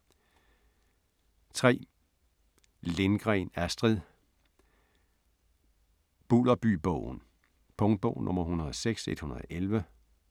3. Lindgren, Astrid: Bulderbybogen Punktbog 106111